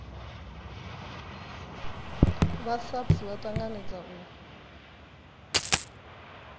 vha saps vha tanganedza u